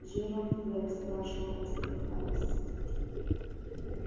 джералд блэк спрашивал задыхаясь